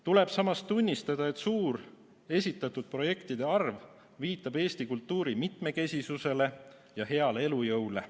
Tuleb samas tunnistada, et esitatud projektide suur arv viitab Eesti kultuuri mitmekesisusele ja heale elujõule.